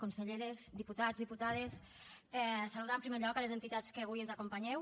conselleres diputats diputades saludar en primer lloc les entitats que avui ens acompanyeu